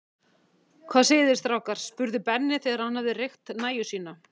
Hvað segið þið strákar? spurði Benni, þegar hann hafði reykt nægju sína.